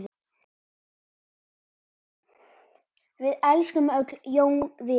Við elskum öll Jón Viðar.